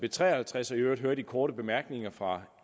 b tre og halvtreds og i øvrigt hører de korte bemærkninger fra